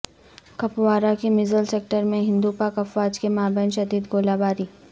کپوارہ کے مژھل سیکٹر میں ہندو پاک افواج کے مابین شدید گولہ باری